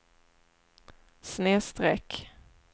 snedsträck